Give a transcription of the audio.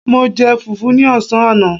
Mo jẹ fùfú ní ọ̀sán àná